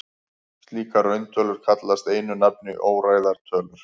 Slíkar rauntölur kallast einu nafni óræðar tölur.